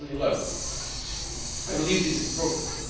2011. I believe this is progress